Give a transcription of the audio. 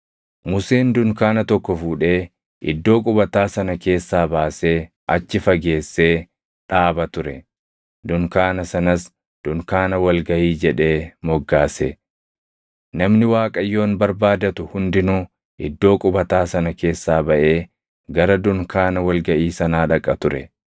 Museen dunkaana tokko fuudhee iddoo qubataa sana keessaa baasee achi fageessee dhaaba ture; dunkaana sanas, “dunkaana wal gaʼii” jedhee moggaase. Namni Waaqayyoon barbaadatu hundinuu iddoo qubataa sana keessaa baʼee gara dunkaana wal gaʼii sanaa dhaqa ture.